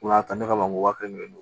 Ko n'a ta ne ka ban ko wa kelen ye